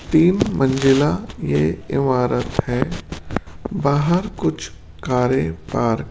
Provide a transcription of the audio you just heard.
तीन मंजिला ये इमारत है बाहर कुछ कारे पार्क --